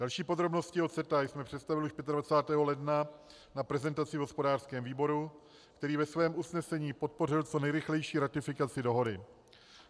Další podrobnosti o CETA jsme představili již 25. ledna na prezentaci v hospodářském výboru, který ve svém usnesení podpořil co nejrychlejší ratifikaci dohody.